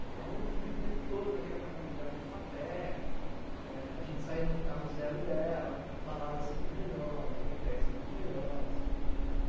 Então, eu vivia o tempo todo naquele apartamento dela no tatuapé, é a gente saía no carro zero dela, balada sempre os melhores, moteis sempre os melhores.